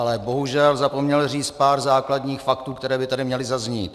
Ale bohužel zapomněl říct pár základních faktů, které by tady měly zaznít.